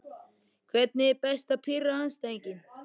Hvernig er best að pirra andstæðinginn?